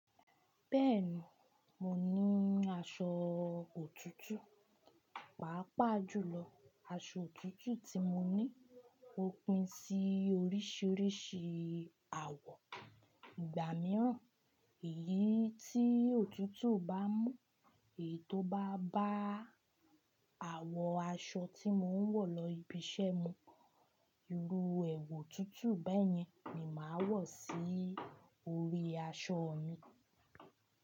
Bẹ́ẹ̀ni, mo ní aṣọ òtútù pàápàá jùlọ. Aṣọ òtútù tí mo ní, ó pín sí oríṣiríṣi àwọ̀. Ìgbà mìíràn èyí tí òtútù bá mú, èyí tó bá bá àwọ̀ aṣọ tí mò ń wọ̀ lọ ibi iṣẹ́ mi. Irú èwù tuntun bẹ́yẹn ni màá wọ̀ sí orí aṣọ mi.